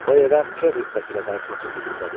O evə Per rütbəsi ilə qayıtmaq ümidindədir.